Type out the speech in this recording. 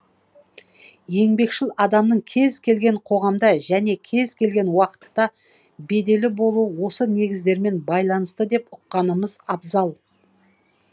еңбекшіл адамның кез келген қоғамда және кез келген уақытта беделі болуы осы негіздермен байланысты деп ұққанымыз абзал